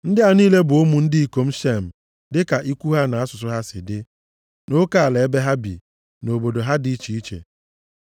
Ndị a niile bụ ụmụ ndị ikom Shem, dịka ikwu ha na asụsụ ha si dị, nʼoke ala ebe ha dị, na obodo ha dị iche iche.